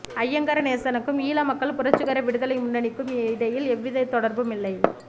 ஐங்கரநேசனுக்கும் ஈழ மக்கள் புரட்சிகர விடுதலை முன்னணிக்கும் இடையில் எவ்விதத் தொடர்பும் இல்லை